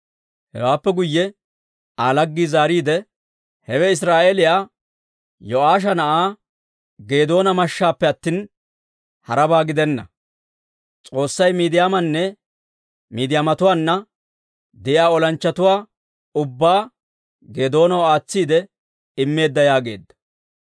Hewaappe guyye Aa laggii zaariide, «Hewe Israa'eeliyaa Yo'aasha na'aa Geedoona mashshaappe attina, harabaa gidenna. S'oossay Miidiyaamanne Midiyaamatuwaanna de'iyaa olanchchatuwaa ubbaa Geedoonaw aatsiide immeedda» yaageedda.